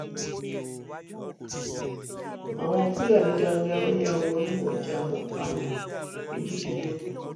àwọn fúlàní darandaran yà wọnú ọjà wọn pààyàn méjìdínlógún